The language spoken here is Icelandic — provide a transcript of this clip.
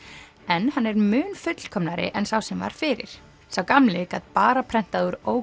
en hann er mun fullkomnari en sá sem var fyrir sá gamli gat bara prentað úr